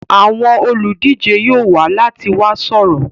Àwọn olùdíje yóò wá láti wá sọ̀rọ̀.